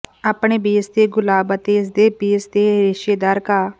ਆਪਣੇ ਬੇਸ ਤੇ ਗੁਲਾਬ ਅਤੇ ਇਸ ਦੇ ਬੇਸ ਤੇ ਰੇਸ਼ੇਦਾਰ ਘਾਹ